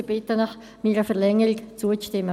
Ich bitte Sie, meiner Verlängerung zuzustimmen.